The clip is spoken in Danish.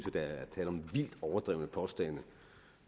at der er tale om vildt overdrevne påstande